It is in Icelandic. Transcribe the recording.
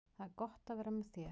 Það er gott að vera með þér.